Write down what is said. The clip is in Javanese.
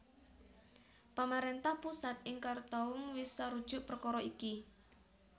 Pamaréntah pusat ing Khartoum wis sarujuk perkara iki